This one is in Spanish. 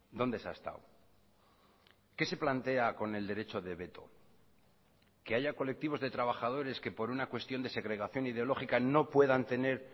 dónde se ha estado qué se plantea con el derecho de veto que haya colectivos de trabajadores que por una cuestión de segregación ideológica no puedan tener